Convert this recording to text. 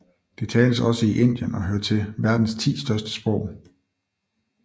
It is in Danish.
Det tales også i Indien og hører til verdens ti største sprog